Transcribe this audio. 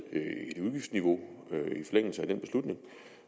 med et udgiftsniveau